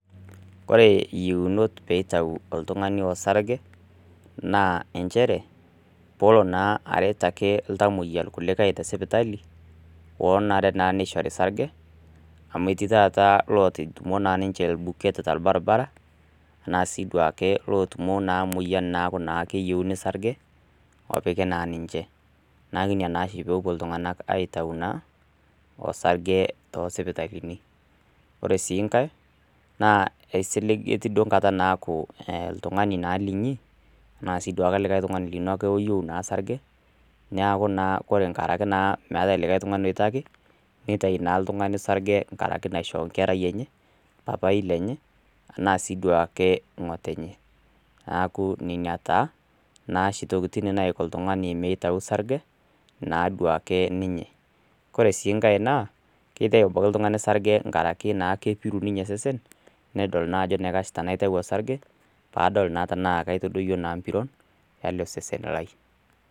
Ore yieunot pee eitayu oltungani orsarge naa nchere pee elo naake aret ltamoyia irkulikae tesipitali, pee etum naa orsarge ,amu etii naa lotutumo ninche irbuketa torbaribara, ana sii duake lotumo naa emoyian naa keyeiuni sarge opiki naa ninche. Neeku ina naa pee epuo iltunganak aitayu orsarge tosipitalini. Ore sii nake etii enkata naaku oltungani naa linyi ana likae tungani naa ake lino oyieu sarge, neeku naa nkaraki meeta likae tungani oitaki ,nitau naa ltungani sarge nkaraki naisho nkerai enye, paipai lenye ana siduake ngotonye. Neeku nina taa ashu tokiting naiko ltungani mitau sarge naduake ninye .Ore sii nake naa kitayu ltungani sarge nkaraki naa kepiru ninye seseni nedoli naa ajo aitayu sarge pee edol naa tena keitadoyio mpiron ele seseni lai.